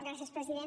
gràcies president